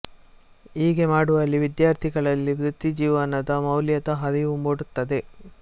ಹೀಗೆ ಮಾಡುವಲ್ಲಿ ವಿದ್ಯಾರ್ಥಿಗಳಲ್ಲಿ ವೃತ್ತಿ ಜೀವನದ ಮೌಲ್ಯದ ಅರಿವು ಮೂಡುತ್ತದೆ